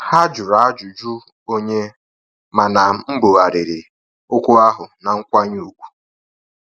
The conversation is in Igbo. Ha jụrụ ajụjụ onye, mana mbughariri okwu ahụ na nkwanye ùgwù